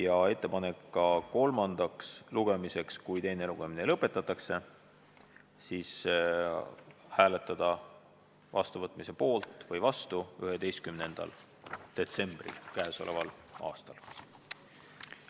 Tehti ettepanek ka eelnõu kolmandale lugemisele saatmiseks k.a 11. detsembril, juhul kui teine lugemine lõpetatakse.